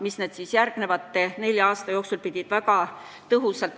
" Niimoodi saigi alguse hinnaralli Lätti, samadel alustel kinnitati ka siis nende pahede maksustamist.